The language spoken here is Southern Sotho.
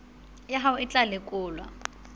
ya hao e tla lekolwa